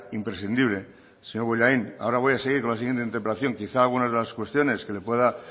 imprescindible señor bollain ahora voy a seguir con la siguiente interpelación quizá algunas de las cuestiones que le pueda